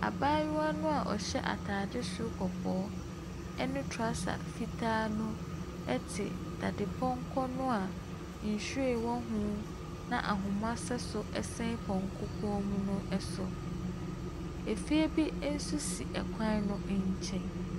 Abaayewa no a ɔhyɛ ataade soro kɔkɔɔ ne trouser fitaa te dadepɔnkɔ no a nhyiren wɔ ho na ahoma sɛ so sɛn pɔnkɔ kɔn mu no so. Fie bi nso si kwan no nkyɛn.